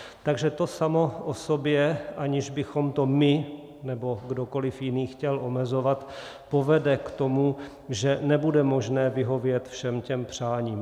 Takže to samo o sobě, aniž bychom to my nebo kdokoli jiný chtěl omezovat, povede k tomu, že nebude možné vyhovět všem těm přáním.